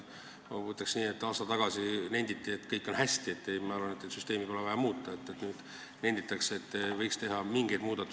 Ma ütleks nii, et aasta tagasi nenditi, et kõik on hästi ja et süsteemi pole vaja muuta, aga nüüd nenditakse, et mingeid muudatusi võiks siiski teha.